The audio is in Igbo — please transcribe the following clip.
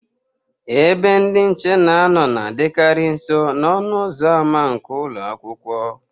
Ebe ndị nche na-anọ na-adịkarị nso n'ọnụ ụzọ ama nke ụlọ akwụkwọ.